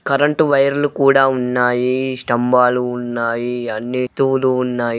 Current wire లు కూడా ఉన్నాయి. స్తంబాలు ఉన్నాయ్. అన్ని తోలు ఉన్నాయ్.